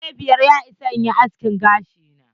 Dari biyar ya ishe ni aske gashi na.